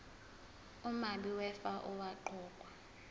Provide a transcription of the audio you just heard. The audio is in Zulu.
umabi wefa owaqokwa